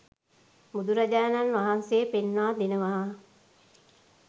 බුදුරජාණන් වහන්සේ පෙන්වා දෙනවා